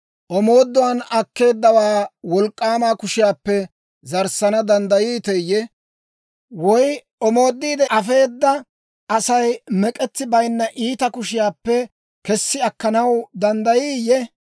Omooduwaan akkeeddawaa wolk'k'aama kushiyaappe zaarissana danddayiiteeyye? Woy omoodiide afeeda Asay mek'etsi bayinna iitaa kushiyaappe kessi akkanaw danddayiiyye?